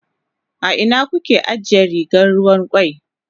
A ina kuka ajiye rigar ruwan kwai?